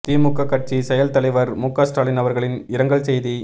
திமுக கட்சி செயல் தலைவர் முக ஸ்டாலின் அவர்களின் இரங்கல் செய்தி